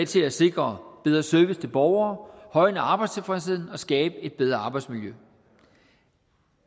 til at sikre bedre service til borgere højne arbejdstilfredsheden og skabe et bedre arbejdsmiljø